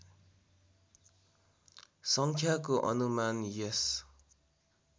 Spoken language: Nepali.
सङ्ख्याको अनुमान यस